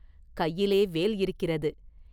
கையிலே வேல் இருக்கிறது.